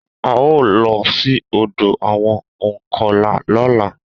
A o lọ sí ọ̀dọ àwọn ònkọlà lọ́la